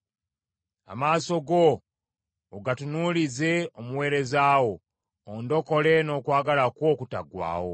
Amaaso go ogatunuulize omuweereza wo; ondokole n’okwagala kwo okutaggwaawo.